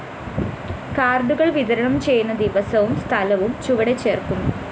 കാര്‍ഡുകള്‍ വിതരണം ചെയ്യുന്ന ദിവസവും സ്ഥലവും ചുവടെ ചേര്‍ക്കുന്നു